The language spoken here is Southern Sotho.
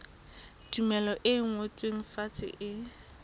tumello e ngotsweng fatshe e